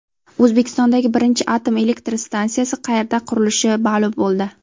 O‘zbekistondagi birinchi atom elektr stansiyasi qayerda qurilishi ma’lum bo‘ldi.